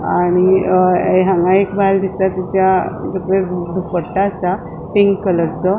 आणि अ हांगा एक बायल दिसता तीच्या तकलेर दुपट्टा असा पिंक कलरचो .